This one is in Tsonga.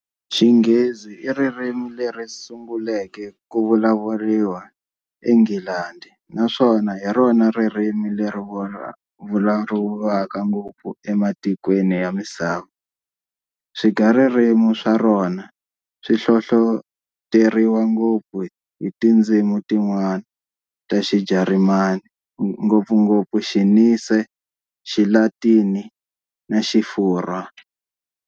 Xinghezi iririmi leri sunguleke ku vulavuriwa eNghilandhi naswona hirona ririmi leri vulavuriwaka ngopfu ematikweni ya misava. Swigaririmi swarona swihlohloteriwa ngopfu hi tindzimi tin'wana ta xiJarimani, ngopfungopfu Xinirse, Xilatini na Xifurhwa.